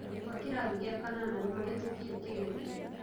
Arutwo a kĩrathi gĩa kanana nĩmahĩtũkire kĩgerio